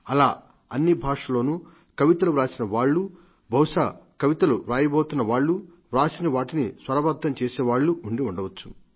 అలా అన్ని భాషల్లోనూ కవితలు వ్రాసిన వాళ్లు బహుశా కవితలు వ్రాయబోతున్న వాళ్లు వ్రాసిన వాటిని స్వరబద్ధంగా ఉండి ఉండవచ్చు